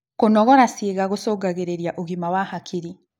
Kũnogora ciĩga gũcũngagĩrĩa ũgima wa hakiri